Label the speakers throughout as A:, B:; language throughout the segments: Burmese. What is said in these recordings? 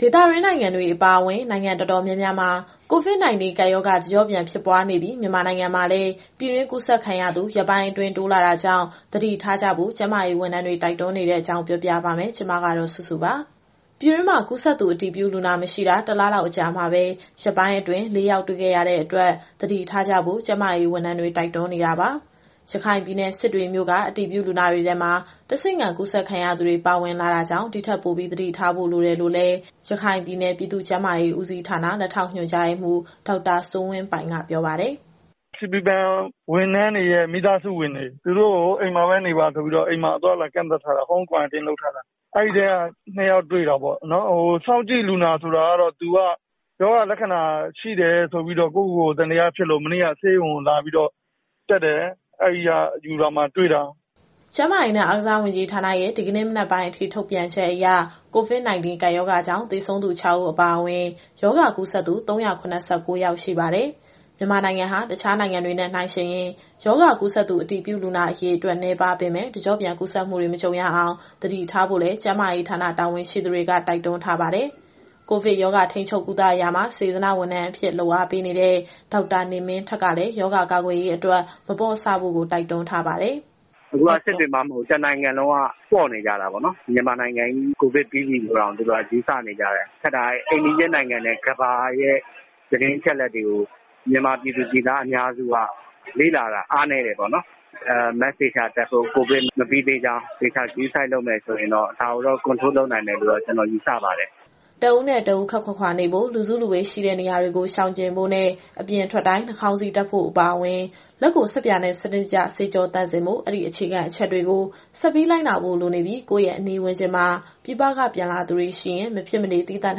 A: ဒေသတွင်း နိုင်ငံတွေအပါအဝင် နိုင်ငံတော်တော်များများမှာ COVID - 19 ကပ်ရောဂါ တကျော့ပြန်ဖြစ်ပွားနေပြီး မြန်မာနိုင်ငံမှာလည်း ပြည်တွင်းကူးစက်ခံရသူ ရက်ပိုင်းအတွင်းတိုးလာတာကြောင့် သတိထားကြဖို့ ကျန်းမာရေးဝန်ထမ်းတွေ တိုက်တွန်းနေတဲ့အကြောင်း ပြောပြပါမယ်။ ဗွီအိုအေမြန်မာပိုင်းသတင်းထောက် မစုစုက သတင်းပေးပို့ထားပါတယ်။ ပြည်တွင်းမှာ ကူးစက်သူ အတည်ပြုလူနာ မရှိတာ ၁ လလောက် အကြာမှာပဲ ရက်ပိုင်းအတွင်း ၄ ယောက် တွေ့ခဲ့ရတဲ့အတွက် သတိထားဖို့ ကျန်းမာရေးဝန်ထမ်းတွေ တိုက်တွန်းနေတာပါ ရခိုင်ပြည်နယ် စစ်တွေမြို့က အတည်ပြုလူနာတွေထဲမှာ တဆင့်ခံကူးစက်သူတွေပါ ပါဝင်လာတာကြောင့် ဒီထက်ပိုပြီး သတိထားဖို့လိုတယ်လို့ ရခိုင်ပြည်နယ် ပြည်သူ့ကျန်းမာရေးဦးစီးဌာန လက်ထောက်ညွှန်ကြားရေးမှူး ဒေါက်တာစိုးဝင်းပိုင်က ပြောပါတယ်
B: ။ “CB ဘဏ်ဝန်ထမ်းတွေရဲ့ မိသားစုဝင်တွေ သူတို့ကို အိမ်မှာပဲနေပါဆိုပြီးတော့ အသွားအလာကန့်သတ်ထားတာ အဲဒီထဲက ၂ ယောက်တွေ့တာပေါ့။ စောင့်ကြည့်လူနာဆိုတာကတော့ သူက ရောဂါလက္ခဏာ ရှိတယ်ဆိုပြီးတော့ ကိုယ့်ကိုယ်ကို သံသယဖြစ်လို့ မနေ့ကဆေးရုံကိုလာတက်တယ်။ အဲဒီကနေ ဓာတ်ခွဲနမူနာယူစစ်ပြီး တွေ့တာ။
A: ” ကျန်းမာရေးနဲ့ အားကစားဝန်ကြီးဌာနရဲ့ ဒီနေ့မနက်ပိုင်းအထိ ထုတ်ပြန်ချက်အရ COVID -19 ကပ်ရောဂါကြောင့် သေဆုံးသူ ၆ ဦး အပါအဝင် ရောဂါကူးစက်သူ ၃၇၉ ယောက် ရှိပါတယ်။ မြန်မာနိုင်ငံဟာ တခြားနိုင်ငံတွေနဲ့ နှိုင်းယှဉ်ရင် ရောဂါကူးစက်သူ အတည်ပြုလူနာ အရေအတွက် နည်းပါးပေမဲ့ တကျော့ပြန် ကူးစက်မှုတွေ မကြုံရအောင် သတိထားဖို့လည်း ကျန်းမာရေးဌာနတာဝန်ရှိသူတွေက တိုက်တွန်းထားပါတယ်။ ကိုဗစ်ရောဂါ ထိန်းချုပ်ကုသရာမှာ စေတနာ့ဝန်ထမ်းအဖြစ် လုပ်အားပေးနေတဲ့ ဒေါက်တာနေမင်းထက်ကလည်း ရောဂါကာကွယ်ရေးအတွက် မပေါ့ဆဖို့ တိုက်တွန်းပါတယ်။
C: “အခုက စစ်တွေမှမဟုတ်ဘူး။ တနိုင်ငံလုံးက ပေါ့နေကြတာပေါ့နော်။ မြန်မာနိုင်ငံကြီး ကိုဗစ်ကင်းစင်ပြီလို့တောင် သူတို့ကယူဆနေကြတယ်။ ခက်တာက အိမ်နီးချင်းနိုင်ငံနဲ့ ကမ္ဘာရဲ့သတင်းအချက်အလက်တွေကို ပြည်သူအများစုက လေ့လာတာအားနည်းတယ်။ Mask သေချာတပ်ဖို့၊ ကိုဗစ်မပြီးသေးကြောင်း သေချာဂရုစိုက်လုပ်မယ်ဆိုရင်တော့ ဒါကိုတော့ ထိန်းချုပ်နိုင်မယ်လို့ ကျနော်ယူဆပါတယ်။”
A: တဦးနဲ့တဦး ခပ်ခွာခွာနေဖို့၊ လူစုလူဝေးရှိတဲ့နေရာတွေကို ရှောင်ကြဉ်ဖို့နဲ့ အပြင်ထွက်တိုင်း နှာခေါင်းစည်းတပ်ဖို့အပါအဝင် လက်ကိုဆပ်ပြာနဲ့ စနစ်တကျဆေးကြောသန့်စင်ဖို့။ အဲဒီအခြေခံအချက်တွေကို ဆက်ပြီးလိုက်နာဖို့လိုနေပြီး ကိုယ့်ရဲ့အနီးဝန်းကျင်မှာ ပြည်ပကပြန်လာသူတွေရှိရင် မဖြစ်မနေ သီးသန့်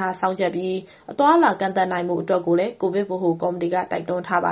A: ထားစောင့်ကြပ်ပြီး အသွားအလာ ကန့်သတ်နိုင်ဖို့အတွက်ကိုလည်း ကိုဗစ်ဗဟိုကော်မတီက တိုက်တွန်းထားပါ